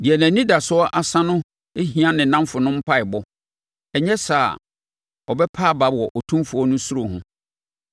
“Deɛ nʼanidasoɔ asa no hia ne nnamfonom mpaeɛbɔ, ɛnyɛ saa a, ɔbɛpa aba wɔ Otumfoɔ no suro ho.